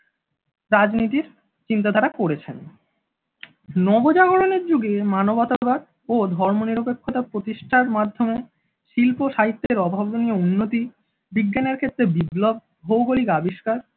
রাজনীতির চিন্তাধারা করেছেন। নবজাগরণের যুগে মানবতার ও ধর্ম নিরপেক্ষতা প্রতিষ্ঠার মাধ্যমে শিল্প-সাহিত্যের অভাবনীয় উন্নতি বিজ্ঞানের ক্ষেত্রে বিপ্লব ভৌগলিক আবিষ্কার